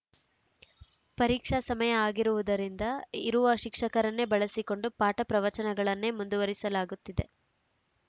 ಪರೀಕ್ಷಾ ಸಮಯ ಆಗಿರುವುದರಿಂದ ಇರುವ ಶಿಕ್ಷಕರನ್ನೇ ಬಳಸಿಕೊಂಡು ಪಾಠ ಪ್ರವಚನಗಳನ್ನೇ ಮುಂದುವರಿಸಲಾಗುತ್ತಿದೆ